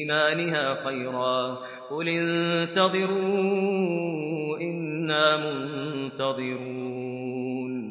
إِيمَانِهَا خَيْرًا ۗ قُلِ انتَظِرُوا إِنَّا مُنتَظِرُونَ